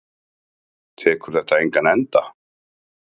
Tekur þetta engan enda?